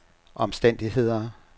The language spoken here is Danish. omstændigheder